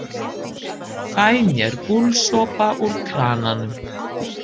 Fæ mér gúlsopa úr krananum.